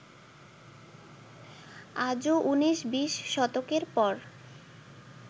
আজও উনিশ-বিশ শতকের পর